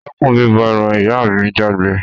Dẹ́kun bíbọ eran! ìyá mi jágbé